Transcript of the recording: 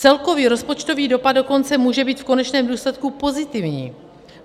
Celkový rozpočtový dopad dokonce může být v konečném důsledku pozitivní.